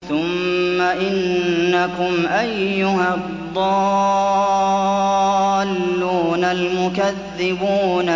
ثُمَّ إِنَّكُمْ أَيُّهَا الضَّالُّونَ الْمُكَذِّبُونَ